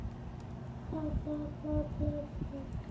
Jónsson á Vörubílastöðinni Þrótti.